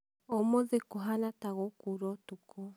ũmũthĩkũhana ta gũkuura ũtukũ